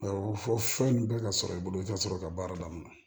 Awɔ fɔ fɛn in bɛ ka sɔrɔ i bolo i tɛ sɔrɔ ka baara daminɛ